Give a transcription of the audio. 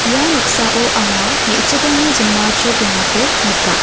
ia noksao anga me·chikrangni jinma chrokengako nika.